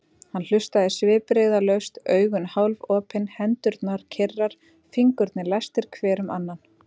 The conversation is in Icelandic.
Hann hlustaði svipbrigðalaust, augun hálfopin, hendurnar kyrrar, fingurnir læstir hver um annan.